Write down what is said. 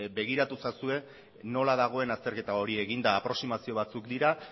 begiratu ezazue nola dagoen azterketa hori eginda aproximazio batzuk dira